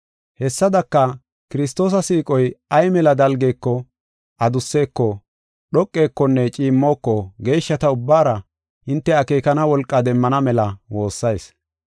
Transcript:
Hessadaka, Kiristoosa siiqoy ay mela dalgeko, adusseko, dhoqekonne ciimmoko geeshshata ubbaara, hinte akeekana wolqa demmana mela woossayis.